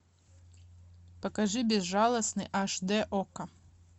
покажи безжалостный аш дэ окко